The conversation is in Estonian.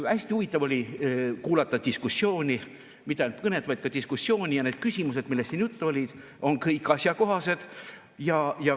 Hästi huvitav oli kuulata diskussiooni, mitte ainult kõnet, vaid ka diskussiooni, ja need küsimused, millest siin juttu oli, on kõik asjakohased.